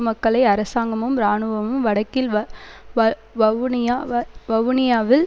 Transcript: மக்களை அரசாங்கமும் இராணுவமும் வடக்கில் வ வ வவுனியா வ வவுனியாவில்